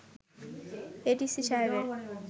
ADC সাহেবের